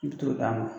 I bi t'o d'a ma